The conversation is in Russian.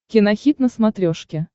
кинохит на смотрешке